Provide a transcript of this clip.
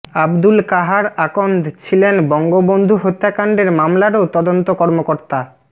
আবদুল কাহার আকন্দ ছিলেন বঙ্গবন্ধু হত্যাকাণ্ডের মামলারও তদন্ত কর্মকর্তা